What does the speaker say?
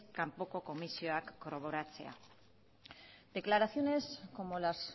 kanpoko komisioak kobratzea declaraciones como las